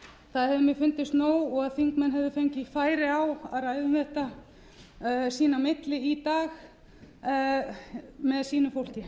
það hefur mér fundist nóg og þingmenn hefðu fengið færi á að ræða um þetta sín á milli í dag með sínu fólki